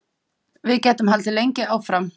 Við gætum haldið lengi áfram.